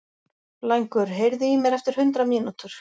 Blængur, heyrðu í mér eftir hundrað mínútur.